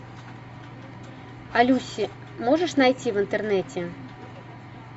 а люси можешь найти в интернете